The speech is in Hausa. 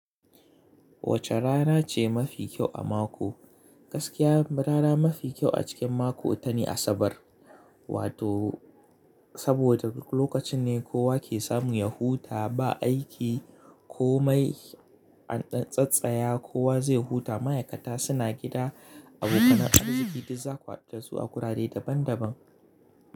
Wace rana ce mafi kyau a mako? Gaskiya rana mafi kyau a cikin mako ita ne Asabar. Wato saboda lokacin ne kowa ke samu ya huta ba aiki ko mai a tsattsaya, kowa zai huta. Ma'aikata suna gida, abokan arziki duk zaku hadu dasu a wurare daban daban.